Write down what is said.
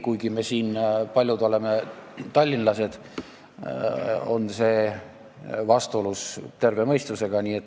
Paljud meist siin saalis on tallinlased, aga see jutt on vastuolus terve mõistusega.